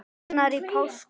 annar í páskum